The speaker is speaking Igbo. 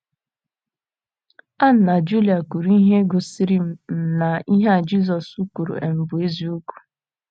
Anna na Julia kwuru ihe gosiri um na ihe a Jizọs kwuru um bụ um eziokwu.